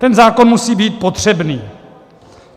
Ten zákon musí být potřebný.